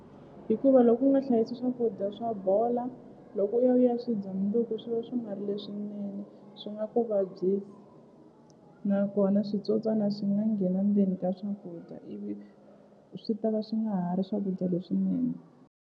Hikuva loko u nga hlayisi swakudya swa bola loko u ya u ya swi dya mundzuku swi va swi nga ri leswinene swi nga ku vabyisa nakona switsotswana swi nga nghena ndzeni ka swakudya ivi swi ta ka swi nga ha ri swakudya leswinene.